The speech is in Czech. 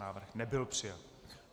Návrh nebyl přijat.